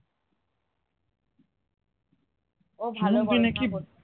ও